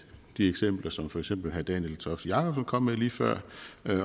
de eksempler som for eksempel herre daniel toft jakobsen kom med lige før